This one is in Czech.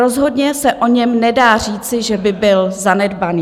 Rozhodně se o něm nedá říci, že by byl zanedbaný.